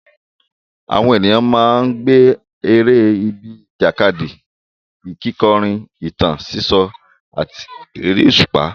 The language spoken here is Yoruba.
Àwọn ènìyàn máa ń gbá eré bíi ìjàkadì, kíkọrin, ìtàn sísọ, àti eré òṣùpá.